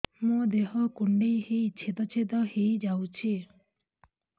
ମୋ ଦେହ କୁଣ୍ଡେଇ ହେଇ ଛେଦ ଛେଦ ହେଇ ଯାଉଛି